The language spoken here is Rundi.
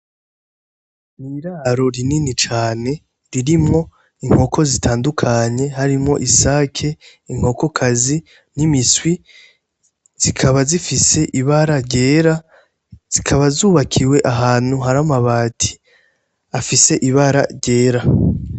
Mw'iraro rinini cane ririmwo inkoko zitandukanye harimwo isake inkokokazi n'imiswi zikaba zifise ibara ryera zikaba zubakiwe ahantu hari amabati afise ibara ryera .